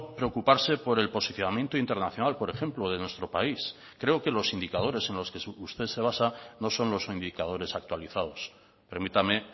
preocuparse por el posicionamiento internacional por ejemplo de nuestro país creo que los indicadores en los que usted se basa no son los indicadores actualizados permítame